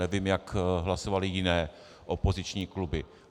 Nevím, jak hlasovaly jiné opoziční kluby.